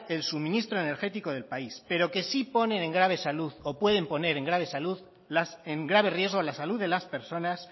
el suministro energético del país pero que sí ponen en grave salud o pueden poner en grave riesgo la salud de las personas